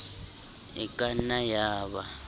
e ka nnang ya ba